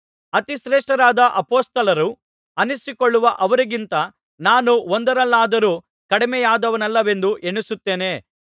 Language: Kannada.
ಅತಿಶ್ರೇಷ್ಟರಾದ ಅಪೊಸ್ತಲರು ಅನ್ನಿಸಿಕೊಳ್ಳುವ ಅವರಿಗಿಂತ ನಾನು ಒಂದರಲ್ಲಾದರೂ ಕಡಿಮೆಯಾದವನಲ್ಲವೆಂದು ಎಣಿಸುತ್ತೇನೆ